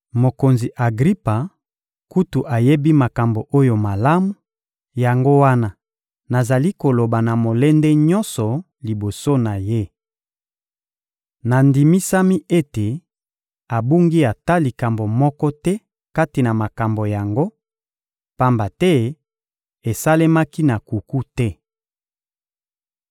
Mokonzi Agripa kutu ayebi makambo oyo malamu; yango wana nazali koloba na molende nyonso liboso na ye. Nandimisami ete abungi ata likambo moko te kati na makambo yango, pamba te esalemaki na nkuku te.